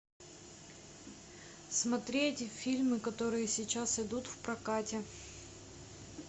смотреть фильмы которые сейчас идут в прокате